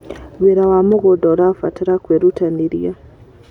Wĩra wa mũgũnda ũbataraga kwĩrutanĩria.